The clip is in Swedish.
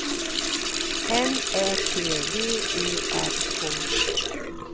N Ä T V E R K